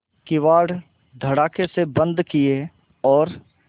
किवाड़ धड़ाकेसे बंद किये और